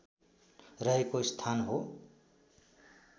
रहेको स्थान हो